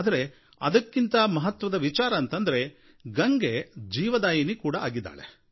ಆದರೆ ಅದಕ್ಕಿಂತ ಮಹತ್ವದ ವಿಚಾರ ಅಂತಂದ್ರೆ ಗಂಗೆಯು ಜೀವನದಾಯಿನಿ ಆಗಿದ್ದಾಳೆ